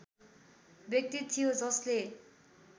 व्यक्ति थियो जसले